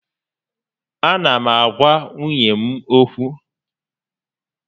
A na m agwa nwunye m ókwú